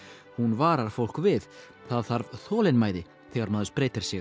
hún varar fólk við það þarf þolinmæði þegar maður spreytir sig á